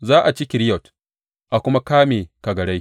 Za a ci Keriyot a kuma kame kagarai.